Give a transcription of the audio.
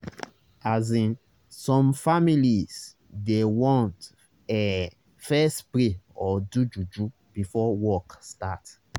asin some families dey want ehh fess pray or do juju before work start